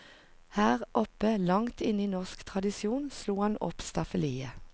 Her oppe, langt inne i norsk tradisjon, slo han opp staffeliet.